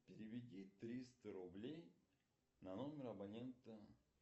переведи триста рублей на номер абонента